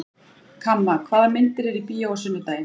Kamma, hvaða myndir eru í bíó á sunnudaginn?